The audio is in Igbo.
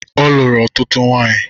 Ọ lụrụ ọtụtụ nwanyi